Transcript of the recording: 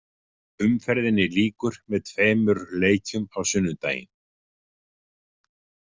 Umferðinni lýkur með tveimur leikjum á sunnudaginn.